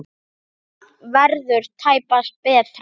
Það verður tæpast betra.